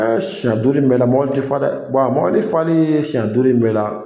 Siɲɛ duuru in bɛɛ la mobili tɛe fa dɛ wa mobili fali ye siɲɛ duuru in bɛɛ la